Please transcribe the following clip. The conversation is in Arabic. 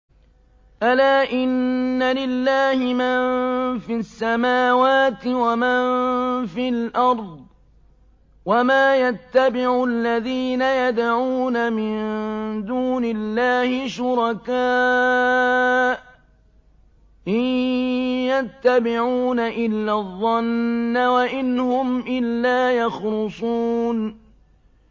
أَلَا إِنَّ لِلَّهِ مَن فِي السَّمَاوَاتِ وَمَن فِي الْأَرْضِ ۗ وَمَا يَتَّبِعُ الَّذِينَ يَدْعُونَ مِن دُونِ اللَّهِ شُرَكَاءَ ۚ إِن يَتَّبِعُونَ إِلَّا الظَّنَّ وَإِنْ هُمْ إِلَّا يَخْرُصُونَ